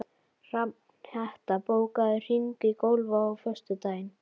Hrafnhetta, bókaðu hring í golf á föstudaginn.